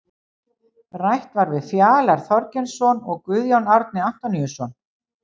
Rætt var við Fjalar Þorgeirsson og Guðjón Árni Antoníusson.